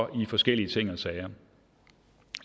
i forskellige ting og sager